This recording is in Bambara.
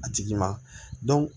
A tigi ma